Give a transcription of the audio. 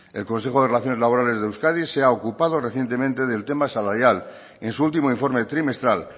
el consejo de relaciones laborales de euskadi se ha ocupado recientemente del tema salarial en su último informe trimestral